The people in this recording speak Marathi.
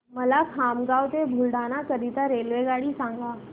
मला खामगाव ते बुलढाणा करीता रेल्वेगाडी सांगा